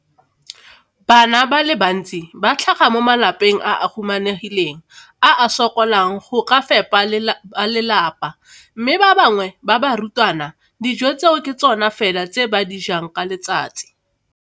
Bana ba le bantsi ba tlhaga mo malapeng a a humanegileng a a sokolang go ka fepa ba lelapa mme ba bangwe ba barutwana, dijo tseo ke tsona fela tse ba di jang ka letsatsi.